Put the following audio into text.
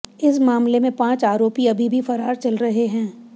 इस मामले में पांच आरोपी अभी भी फरार चल रहे हैं